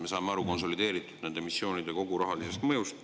Me saame aru konsolideeritult nende missioonide rahalisest mõjust.